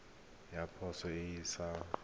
ya poso e e sa